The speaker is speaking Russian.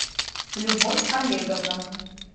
любовь олеговна